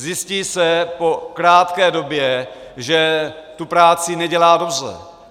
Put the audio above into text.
Zjistí se po krátké době, že tu práci nedělá dobře.